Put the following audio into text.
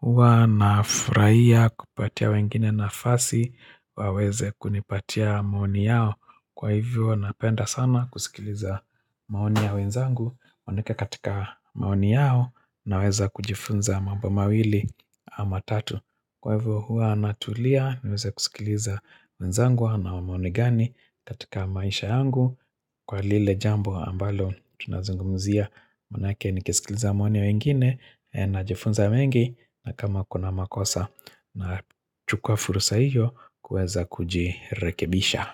Huwa nafurahia kupatia wengine nafasi waweze kunipatia maoni yao Kwa hivyo napenda sana kusikiliza maoni ya wenzangu maanake katika maoni yao naweza kujifunza mambo mawili ama tatu Kwa hivyo huwa natulia niweze kusikiliza wenzangu wanayo maoni gani katika maisha yangu Kwa lile jambo ambalo tunazungumzia Maanake ningesikiliza maoni ya wengine Najifunza mengi na kama kuna makosa na chukua fursa hiyo kuweza kujirekebisha.